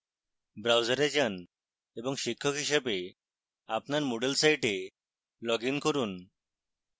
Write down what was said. browser যান এবং শিক্ষক হিসাবে আপনার moodle site লগইন করুন